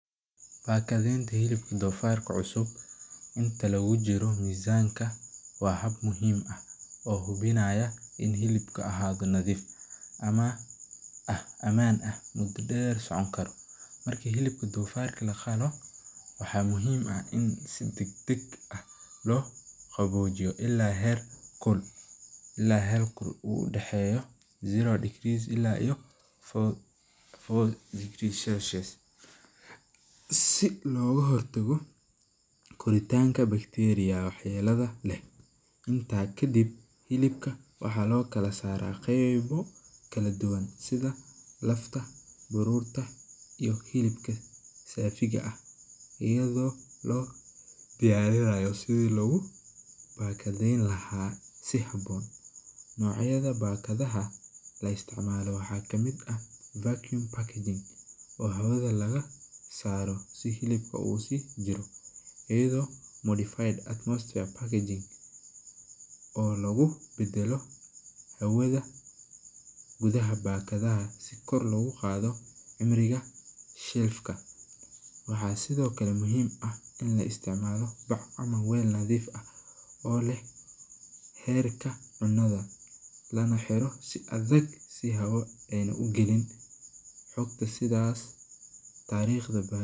Bakadeenta hilibka doofarka cusub, in hilibka ahaado nadiif, marka laqalo, si dagdag ah loo qaboojiya, si looga hor tago korinta wax yeela, sida baruurta iyo hilibka safida, si haboon, nocyada bakadaha hawada laga saaro, oo lagu bedelo hawada, gudaha bakadaha,,waxaa sido kale muhiim ah in la isticmaalaa back, si loo ilaaliyo inaay hawa galin.